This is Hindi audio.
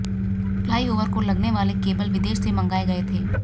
फ्लाईओवर को लगनेवाले केबल विदेश से मंगाए गए थे